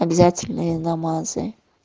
обязательные намазы